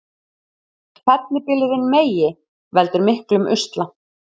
Fellibylurinn Megi veldur miklum usla